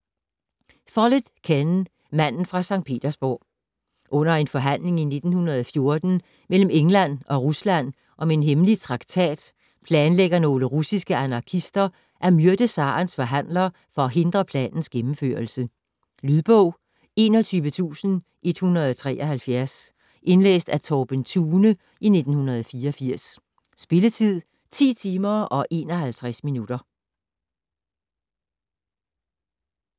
Follett, Ken: Manden fra Sankt Petersburg Under en forhandling i 1914 mellem England og Rusland om en hemmelig traktat planlægger nogle russiske anarkister at myrde zarens forhandler for at hindre planens gennemførelse. Lydbog 24173 Indlæst af Torben Thune, 1984. Spilletid: 10 timer, 51 minutter.